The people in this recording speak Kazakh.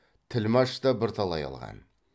тілмәш та бірталай алған